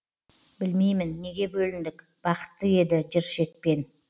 білмеймін неге бөліндік бақытты еді жыр шекпен